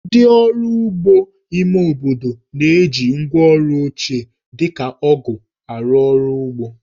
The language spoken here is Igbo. Ndị ọrụ ugbo ime obodo na-eji ngwáọrụ ochie, dị ka ọgụ̀ arụ ọrụ ugbo